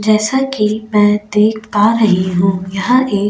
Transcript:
जैसा कि मैं देख पा रही हूं यहां एक.